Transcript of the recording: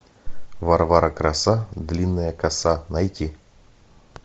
варвара краса длинная коса найти